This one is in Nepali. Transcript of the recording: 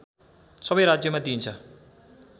सबै राज्यमा दिइन्छ